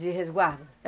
De resguardo?